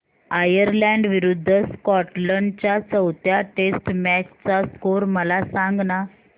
Ireland विरूद्ध Scotland च्या चौथ्या टेस्ट मॅच चा स्कोर मला सांगना